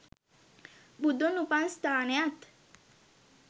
බුදුන් උපන් ස්ථානයත්